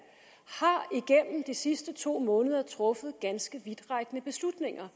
igennem de sidste to måneder har truffet ganske vidtrækkende beslutninger